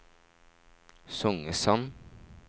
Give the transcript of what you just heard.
Songesand